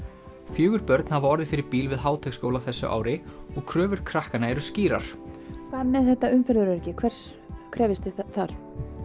fjögur börn hafa orðið fyrir bíl við Háteigsskóla á þessu ári og kröfur krakkanna eru skýrar hvað með þetta umferðaröryggi hvers krefjist þið þar